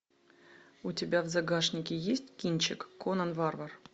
у тебя в загашнике есть кинчик конан варвар